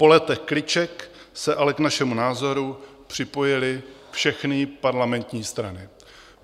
Po letech kliček se ale k našemu názoru připojily všechny parlamentní strany.